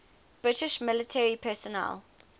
british military personnel